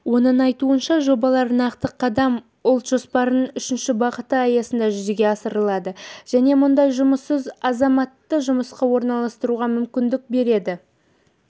оның айтуынша жобалар нақты қадам ұлт жоспарының үшінші бағыты аясында жүзеге асырылады және мыңдай жұмыссыз азаматты жұмысқа орналастыруға мүмкіндік береді